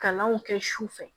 Kalanw kɛ su fɛ